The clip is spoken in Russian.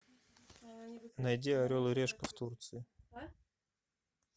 найди орел и решка в турции